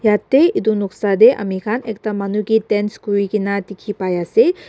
yatae edu noksa tae amikhan ekta manu kae dance kurikaena dikhipaiase.